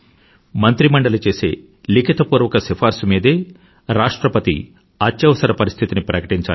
మంత్రిమండలి చేసే లిఖితపూర్వక సిఫార్సు మీదే రాష్ట్రపతి అత్యవసర పరిస్థితిని ప్రకటించాలి